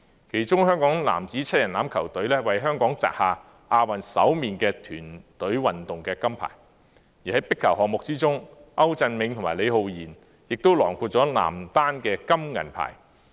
其中香港男子7人欖球隊為香港擲下亞運首面團隊運動金牌，而在壁球項目之中，歐鎮銘和李浩賢亦囊括男單金銀牌。